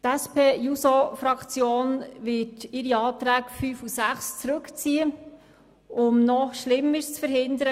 Die SP-JUSO-PSA-Fraktion wird ihre Planungserklärungen 5 und 6 zurückziehen, um noch Schlimmeres zu verhindern.